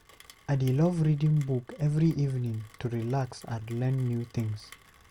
I dey love reading book every evening to relax and learn new things.